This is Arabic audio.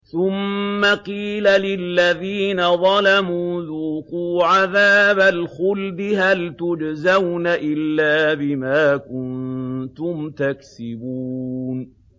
ثُمَّ قِيلَ لِلَّذِينَ ظَلَمُوا ذُوقُوا عَذَابَ الْخُلْدِ هَلْ تُجْزَوْنَ إِلَّا بِمَا كُنتُمْ تَكْسِبُونَ